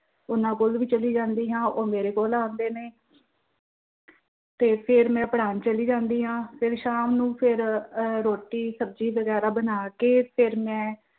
ਉਹਨਾਂ ਕੋਲ ਵੀ ਚਲੀ ਜਾਂਦੀ ਹਾਂ ਉਹ ਮੇਰੇ ਕੋਲ ਵੀ ਆਉਂਦੇ ਨੇ, ਤੇ ਫਿਰ ਮੈਂ ਪੜ੍ਹਾਣ ਚਲੀ ਜਾਂਦੀ ਹਾਂ, ਫਿਰ ਸ਼ਾਮ ਨੂੰ ਫਿਰ ਅਹ ਰੋਟੀ ਸ਼ਬਜ਼ੀ ਵੈਗਰਾ ਬਣਾ ਕਿ ਫਿਰ ਮੈਂ